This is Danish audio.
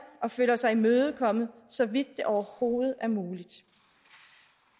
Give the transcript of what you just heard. og føler sig imødekommet så vidt det overhovedet er muligt